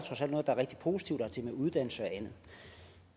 er rigtig positivt nemlig uddannelse og andet